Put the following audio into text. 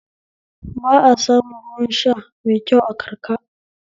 Ba a samun ruwan sha mai kyau a karka